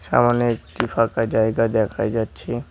সামোনে একটি ফাঁকা জায়গা দেখা যাচ্ছে।